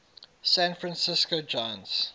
san francisco giants